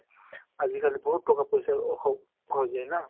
আজিকালি বহুত টকা পইছাৰ অসুবিধা হৈ যায় না ?